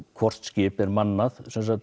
hvort skip er mannað